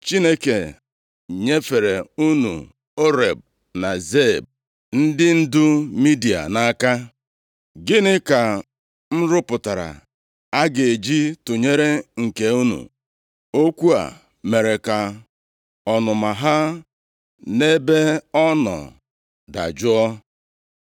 Chineke nyefere unu Oreb na Zeeb, ndị ndu Midia, nʼaka. Gịnị ka m rụpụtara a ga-eji tụnyere nke unu?” Okwu a mere ka ọnụma ha nʼebe ọ nọ dajụọ.